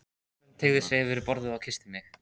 Hrönn teygði sig yfir borðið og kyssti mig.